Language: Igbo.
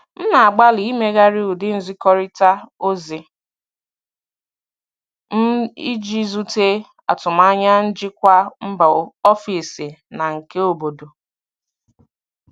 M na-agbalị imeghari ụdị nzikọrịta ozi m iji zute atụmanya njikwa mba ofesi na nke obodo.